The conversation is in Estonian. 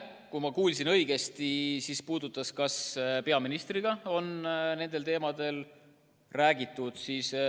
Kui ma kuulsin õigesti, siis küsimus puudutas seda, kas peaministriga on nendel teemadel räägitud.